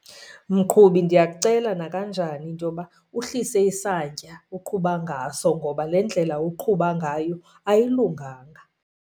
Mqhubi, ndiyakucela nakanjani into yoba uhlise isantya oqhuba ngaso, ngoba le ndlela uqhuba ngayo ayilunganga.